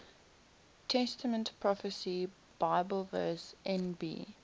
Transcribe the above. testament prophecy bibleverse nb